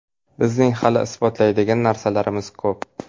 Bizning hali isbotlaydigan narsamiz ko‘p.